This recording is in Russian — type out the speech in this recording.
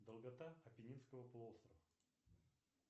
долгота апеннинского полуострова